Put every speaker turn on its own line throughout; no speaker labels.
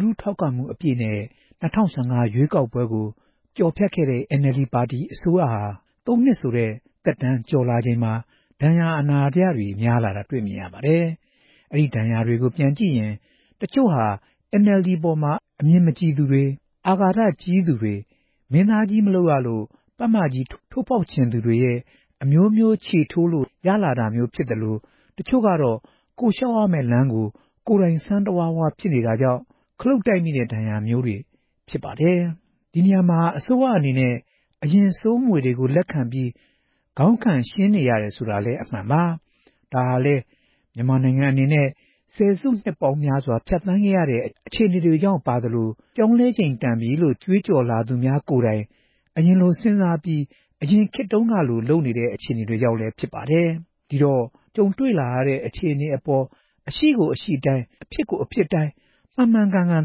လူထုထောက်ခံမှုနဲ့ အပြည့်နဲ့ ၂ဝ၁၅ ရွေးကောက်ပွဲကို ကျော်ဖြတ်ခဲ့တဲ့ NLD ပါတီဟာ အစိုးရဟာ သုံးနှစ်ဆိုတဲ့ သက်တမ်းကျော်လာချိန်မှာ ဒဏ်ရာအနာတရတွေ များလာနေတာ တွေ့မြင်ရပါတယ်။ ရရှိတဲ့ ဒီဒဏ်ရာတွေကို ပြန်ကြည့်ရင် တချို့ဟာ NLD အပေါ်အမြင်မကြည်သူတွေ၊ အာဃာတကြီးသူတွေ၊ မင်းသားမလုပ်ရလို့ ပတ်မကြီးကို ထိုးဖောက်ချင်သူတွေရဲ့ အမျိုးမျိုးခြေထိုးလို့ရလာတာမျိုးတွေ ဖြစ်သလို တချို့ကတော့ ကိုယ့်လျှောက်ရမယ့် လမ်းကို ကိုယ်တိုင် စမ်းတဝါးဝါး ဖြစ်နေတာကြောင့် ခလုတ်တိုက်မိလို့ ရတဲ့ဒဏ်ရာမျိုးတွေ ဖြစ်နေတာ တွေ့ရပါတယ်။ ဒီနေရာမှာ အစိုးရအနေနဲ့ အရင်ဆိုးမွေတွေကို လက်ခံပြီး ခေါင်းခံရှင်းနေရတယ်ဆိုတာလည်း အမှန်ပါ။ ဒါဟာလည်း မြန်မာနိုင်ငံအနေနဲ့ ဆယ်စုနှစ်ပေါင်းများစွာ ဖြတ်သန်းခဲ့ရတဲ့ အခြေအနေတွေကြောင့်ပါသလို ပြောင်းလဲချိန်တန်ပြီလို့ ကြွေးကြော်လာသူများ ကိုယ်တိုင် အရင်လိုစဉ်းစားပြီး အရင်ခေတ်တုန်းကလို လုပ်နေတဲ့ အခြေအနေတွေကြောင့်လည်း ဖြစ်ပါတယ်။ ဒီတော့ ကြုံတွေ့လာတဲ့ အခြေအနေပေါ်မှာ အရှိကို အရှိအတိုင်း၊ အဖြစ်ကို အဖြစ်အတိုင်း မှန်မှန်ကန်ကန်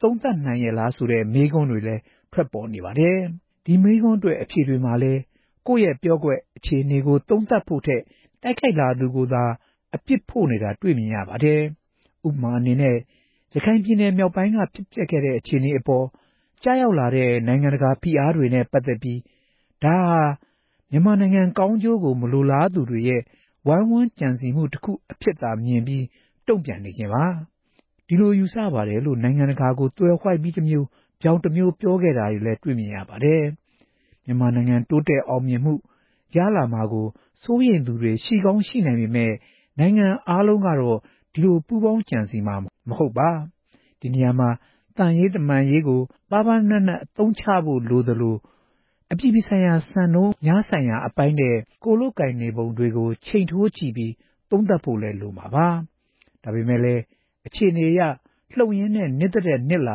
သုံးသပ်နိုင်ရဲလားဆိုတဲ့ မေးခွန်းတွေလည်း ထွက်ပေါ်နေပါတယ်။ ဒီမေးခွန်းအတွက် အဖြေမှာလည်း ကိုယ့်ရဲ့ ပျော့ကွက်၊ အခြေအနေကို သုံးသပ်ဖို့ထက် တိုက်ခိုက်လာသူတွေကိုသာ အပြစ်ဖို့နေတာ တွေ့မြင်နေရပါတယ်။ ဥပမာအနေနဲ့ ရခိုင်ပြည်နယ် မြောက်ပိုင်းက ဖြစ်ပျက်ခဲ့တဲ့ အခြေအနေအပေါ် ကျရောက်လာတဲ့ နိုင်ငံတကာဖိအားတွေနဲ့ ပတ်သက်ပြီး ဒါဟာ မြန်မာနိုင်ငံကောင်းကျိုးကို မလိုလားသူတွေရဲ့ ဝိုင်းဝန်းကြံစည်မှုတခု အဖြစ်သာ မြင်ပြီး တုန့်ပြန်နေခြင်းပါ။ ဒီလိုယူဆပါတယ်လို့ နိုင်ငံတကာကို သွယ်ဝှိုက်ပြီးတမျိုး၊ ဗြောင်တမျိုးလည်း ပြောခဲ့တာ တွေ့ရပါတယ်။ မြန်မာနိုင်ငံ တိုးတက်အောင်မြင်မှုတွေ ရလာမှာကို စိုးရိမ်သူတွေ ရှိကောင်းရှိနိုင်ပေမယ့် နိုင်ငံအားလုံးတော့ ဒီလိုပူးပေါင်းကြံစည်မှုမှာပါဝင်မှာ မဟုတ်ပါ။ ဒီနေရာမှာ သံရေးတမန်အရေးကို ပါးပါးနပ်နပ်အသုံးချဖို့ လိုသလို၊ အပြည်ပြည်ဆိုင်ရာ စံနှုန်းများဆိုင်ရာအပိုင်းနဲ့ ကိုယ်လုပ်ကိုင်နေပုံတွေကို ချိန်ထိုးကြည့်ပြီး သုံးသပ်ဖို့လည်းလိုမှာပါ။ ဒါပေမယ့်လည်း အခြေအနေအရ လှုပ်ရင်းနဲ့ နစ်သထက်နစ်လာ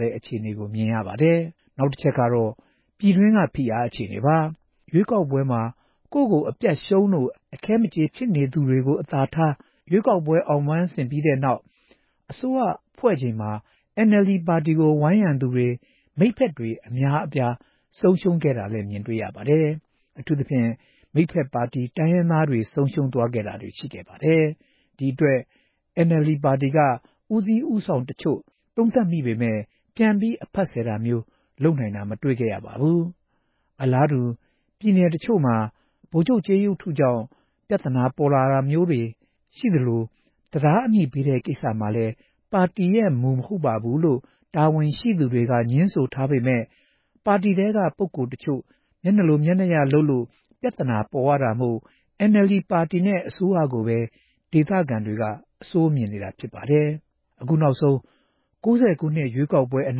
ရတဲ့ အခြေအနေကို မြင်နေရပါတယ်။ နောက်တချက်ကတော့ ပြည်တွင်းက ဖိအားအခြေအနေပါ။ ရွေးကောက်ပွဲမှာ ကိုယ့်ကို အပြတ်ရှုံးလို့ အခဲမကျေဖြစ်နေသူတွေကို အသာထား၊ ရွေးကောက်ပွဲမှာ အောင်ပန်းဆင်ပြီးတဲ့နောက် အစိုးရဖွဲ့ချိန်မှာ NLD ပါတီကို ဝန်းရံသူတွေ၊ မိတ်ဖက်တွေ အများအပြား ဆုံးရှုံးခဲ့ရတာလည်း မြင်တွေ့ရပါတယ်။ အထူးသဖြင့် မိတ်ဖက်ပါတီ တိုင်းရင်းသားတွေ ဆုံးရှုံးသွားတာတွေ ရှိခဲ့ပါတယ်။ ဒီအတွက် NLD ပါတီက ဦးစီးဦးဆောင်သူတချို့ သုံးသပ်မိပေမယ့် ပြန်ပြီး အဖတ်ဆယ်တာမျိုး လုပ်နိုင်တာ မတွေ့ခဲ့ရပါဘူး။ အလားတူ ပြည်နယ်တချို့မှာ ဗိုလ်ချုပ်ကြေးရုပ်ထုကြောင့် ပြဿနာပေါ်လာတာမျိုးတွေရှိသလို တံတားအမည်ပေးတဲ့ ကိစ္စဟာလည်း ပါတီရဲ့မူ မဟုတ်ဘူးလို့ ပါတီတာဝန်ရှိသူတွေက ငြင်းဆိုထားပေမယ့် ပါတီထဲက ပုဂ္ဂိုလ်တချို့ မျက်နှာလိုမျက်နှာရလုပ်လို့ ပြဿနာပေါ်ရတာမို့ NLD ပါတီနဲ့ အစိုးရကိုပဲ ဒေသခံတွေက အဆိုးမြင်နေတာဖြစ်ပါတယ်။ အခုနောက်ဆုံး ၉ဝခုနှစ် ရွေးကောက်ပွဲအ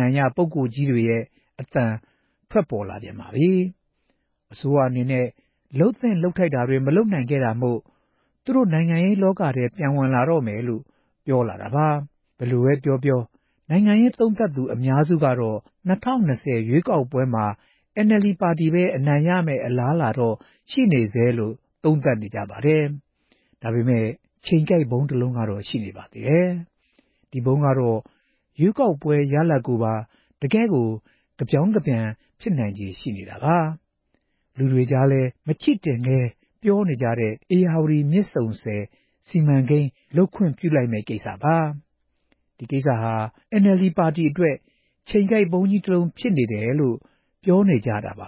နိုင်ရပုဂ္ဂိုလ်ကြီးတွေရဲ့ အသံထွက်ပေါ်လာပြန်ပါပြီ။ အစိုးရအနေနဲ့ လုပ်သင့်လုပ်ထိုက်တာ မလုပ်နိုင်ခဲ့တာမို့ သူတို့ နိုင်ငံရေးလောကထဲ ပြန်ဝင်လာတော့မယ်လို့ ပြောလာတာပါ။ ဘယ်လိုပဲပြောပြော နိုင်ငံရေးသုံးသပ်သူ အများစုကတော့ ၂ဝ၂ဝရွေးကောက်ပွဲမှာ NLD ပါတီပဲ အနိုင်ရမယ့် အလားအလာတော့ ရှိနေဆဲလို့ သုံးသပ်နေကြပါတယ်။ ဒါပေမယ့် ချိန်ကိုက်ဗုံးတလုံးကတော့ ရှိပါသေးတယ်။ ဒီဗုံးကတော့ ရွေးကောက်ပွဲ ရလဒ်ကို တကယ့်ကို ကဗြောင်းကပြန် ဖြစ်နိုင်ခြေရှိနေတာပါ။ လူတွေကြား မချိတင်ကဲပြောနေကြတဲ့ ဧရာဝတီမြစ်ဆုံဆည် စီမံကိန်း လုပ်ခွင့်ပြုလိုက်မယ့်ကိစ္စပါ။ ဒီစီမံကိန်းကြီးကိစ္စဟာ NLD ပါတီအတွက် ချိန်ကိုက်ဗုံးကြီးတလုံး ဖြစ်တယ်လို့ ပြောနေကြတာပါ